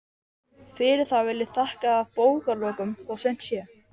Fyrir það vil ég þakka að bókarlokum, þó seint sé.